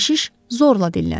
Keşiş zorla dilləndi.